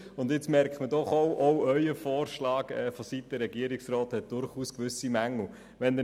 Nun merkt man doch auch, dass der Vorschlag des Regierungsrats durchaus gewisse Mängel hat.